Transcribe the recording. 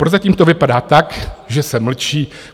Prozatím to vypadá tak, že se mlčí.